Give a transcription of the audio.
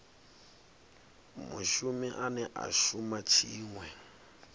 mushumi ane a shuma tshiṅwe